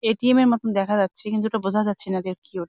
ATM. -এর মতন দেখা যাচ্ছে। কিন্তু ওটা বোঝা যাচ্ছে না যে কি ওট--